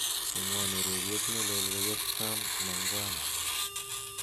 cheng'won ureryet nelel koyop sam mangwana